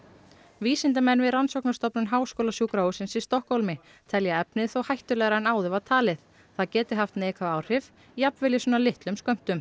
vísindamenn við rannsóknarstofnun háskólasjúkrahússins í Stokkhólmi telja efnið hættulegra en áður var talið það geti haft neikvæð áhrif jafnvel í svona litum skömmtum